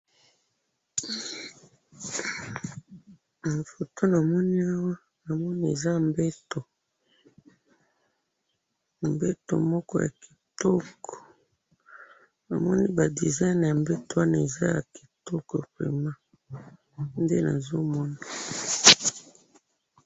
Foto namoni awa, namoni eza mbetu, mbetu moko yakitoko, ba design yambetu wana eza yakitoko penza